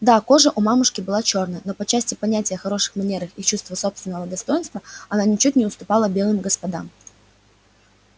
да кожа у мамушки была чёрная но по части понятия о хороших манерах и чувства собственного достоинства она ничуть не уступала белым господам